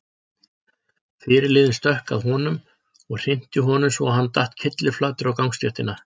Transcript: Fyrirliðinn stökk að honum og hrinti honum svo að hann datt kylliflatur á gangstéttina.